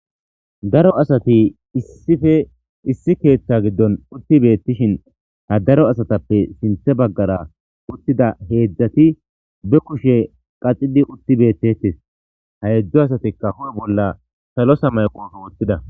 daro asati issife issi keeththa giddon utti beettishin ha daro asatappe sinthe baggara uttida heedzdzati be kushe qaxidi utti beettetes ha hedzdzu asatikka hu'e bolla salo samaye qofe woththida